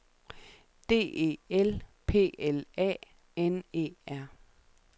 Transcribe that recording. D E L P L A N E R